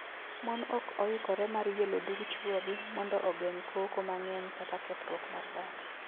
Mon ok oikore mar yelo dug chuogi mondo ogeng’ koko mang’eny kata kethruok mar dak.